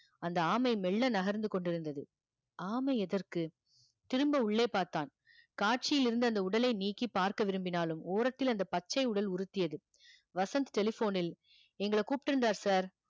அந்த ஆமை மெல்ல நகர்ந்து கொண்டிருந்தது ஆமை எதற்கு திரும்ப உள்ளே பார்த்தான் காட்சியிலிருந்து அந்த உடலை நீக்கி பார்க்க விரும்பினாலும் ஓரத்தில் அந்த பச்சை உடல் உறுத்தியது வசந்த் telephone ல் எங்களைக் கூப்பிட்டிருந்தார் sir